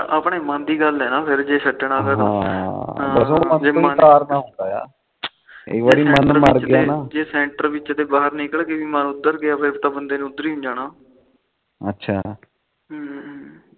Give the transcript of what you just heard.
ਜੇ ਸੈਂਟਰ ਵਿੱਚ ਤੇ ਨਿਕਲ ਕੇ ਮਨ ਉਧਰ ਗਿਆ ਫਿਰ ਤਾ ਬੰਦੇ ਨੇ ਉਧਰ ਹੀ ਜਾਣਾ ਅੱਛਾ ਹਮ